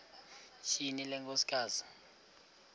tyhini le nkosikazi